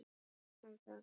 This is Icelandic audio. Og hvað um það?